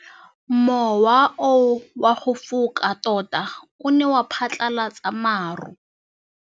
Mowa o wa go foka tota o ne wa phatlalatsa maru.